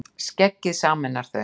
Skeggið sameinar þau